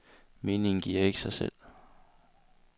Meningen giver ikke sig selv.